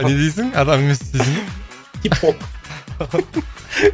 не дейсің адам емес дейсің ба хип хоп